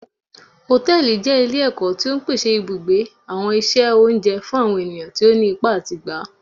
Hòtẹ́ẹ̀lì jẹ ile-ẹkọ ti o ń pèsè ibugbe, awọn iṣẹ oúnjẹ fún àwọn ènìyàn tí òní ipá atí gbá.